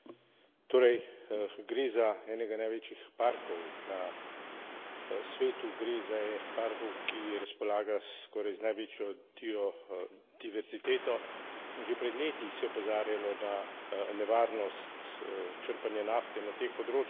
Torej, gre za enega največjih parkov na svetu, gre za enega od parkov, ki razpolaga skoraj z največjo bio diverziteto, in že pred leti se je opozarjalo na nevarnost črpanja nafte na teh področjih.